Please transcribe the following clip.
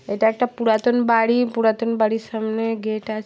এটা একটা পুরাতন বাড়ি পুরাতন বাড়ির সামনে গেট আছ--